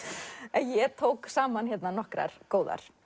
en ég tók saman nokkrar góðar